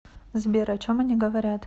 сбер о чем они говорят